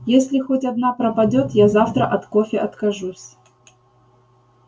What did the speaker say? если хоть одна пропадёт я завтра от кофе откажусь